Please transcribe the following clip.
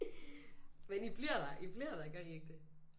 Men I bliver der I bliver der gør I ikke det